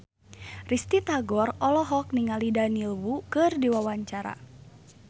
Risty Tagor olohok ningali Daniel Wu keur diwawancara